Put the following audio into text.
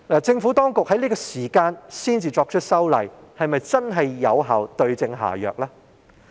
政府當局在這個時候才作出修例，是否真的可對症下藥呢？